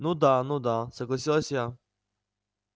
ну да ну да согласилась я